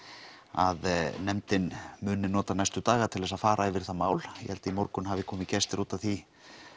að nefndin muni nota næstu daga til þess að fara yfir það mál ég held að í morgun hafi komið gestir út af því